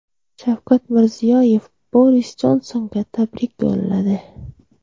Shavkat Mirziyoyev Boris Jonsonga tabrik yo‘lladi.